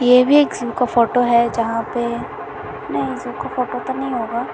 ये भी एक जू का फोटो है जहाँ पे नहीं जू का फोटो तो नहीं होगा।